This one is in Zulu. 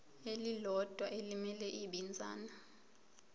elilodwa elimele ibinzana